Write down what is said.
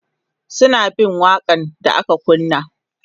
suna bin waƙa n da aka kunna